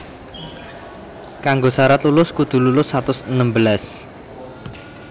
Kanggo sarat lulus kudu lulus satus enem belas